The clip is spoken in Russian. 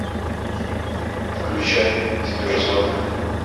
включай киберзона